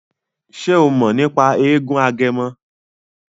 Ṣe o mọ̀ nípa eégún Agẹmọ?